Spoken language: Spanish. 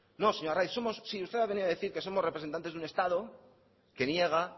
no señor arraiz sí usted ha venido a decir que somos representantes de un estado que niega